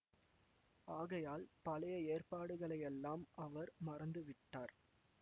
ஆகையால் பழைய ஏற்பாடுகளையெல்லாம் அவர் மறந்து விட்டார்